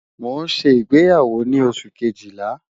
Mo n ṣe igbeyawo ni Oṣu kejila